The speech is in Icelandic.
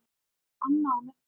Anna og Nökkvi.